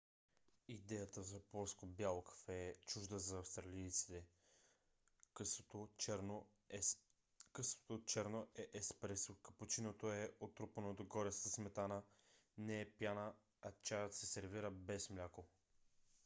идеята за плоско бяло кафе е чужда за австралийците. късото черно е еспресо капучиното е отрупано догоре със сметана не пяна а чаят се сервира без мляко